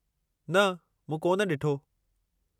न, मूं कोन ॾिठो।